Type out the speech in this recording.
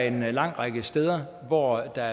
en lang række steder hvor der